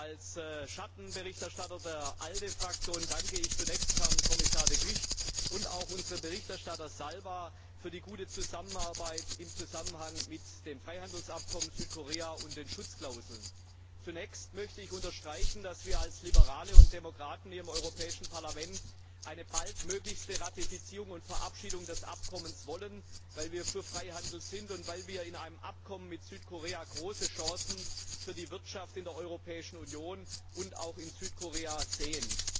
Als Schattenberichterstatter der ALDE Fraktion danke ich Herrn Kommissar De Gucht und auch unserem Berichterstatter Zalba für die gute Zusammenarbeit im Zusammenhang mit dem Freihandelsabkommen mit Südkorea und den Schutzklauseln. Zunächst möchte ich unterstreichen, dass wir als Liberale und Demokraten hier im Europäischen Parlament eine möglichst baldige Ratifizierung und Verabschiedung des Abkommens wollen, weil wir für Freihandel sind und weil wir in einem Abkommen mit Südkorea große Chancen für die Wirtschaft in der Europäischen Union und auch in Südkorea sehen.